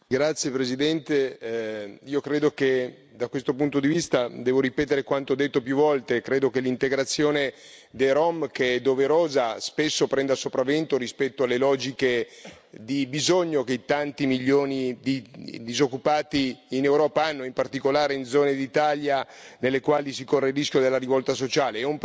Signora Presidente, onorevoli colleghi, da questo punto di vista devo ripetere quanto detto più volte, credo che l'integrazione dei rom, che è doverosa, spesso prenda il sopravvento rispetto alle logiche di bisogno che in tanti milioni di disoccupati in Europa hanno, in particolare in zone d'Italia nelle quali si corre il rischio della rivolta sociale.